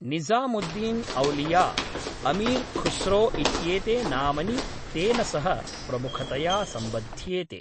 निज़ामुद्दीन् औलिया, अमीर्‌ खुस्रो इत्येते नामनी तेन सह प्रमुखतया सम्बध्येते।